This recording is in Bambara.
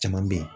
Caman bɛ yen